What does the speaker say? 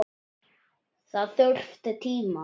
Það þurfti tíma.